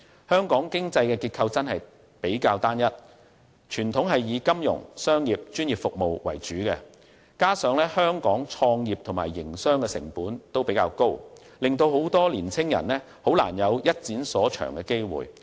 香港的經濟結構過於單一，向來是以金融、商業和專業服務為主，加上香港創業和營商成本較高，令很多年青人難有一展所長的機會。